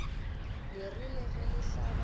le rile ge le hlaba